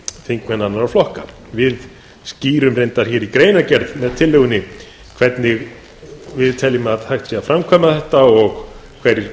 þingmenn annarra flokka við skýrum reyndar hér í greinargerð með tillögunni hvernig við teljum að hægt sé að framkvæma þetta og hverjir